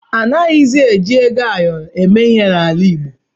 A naghịzi eji ego ayọrọ eme ihe n’ala Igbo.